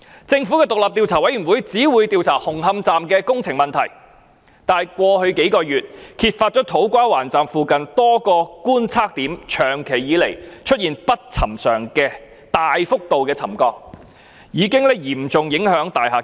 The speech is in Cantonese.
政府的獨立調查委員會只會調查紅磡站的工程問題，但過去幾個月，首先揭發土瓜灣站附近多個觀測點長期以來出現不尋常的大幅度沉降，已經嚴重影響大廈結構。